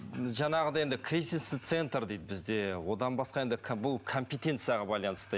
жаңағыдай енді кризисный центр дейді бізде одан басқа енді бұл компетенцияға байланысты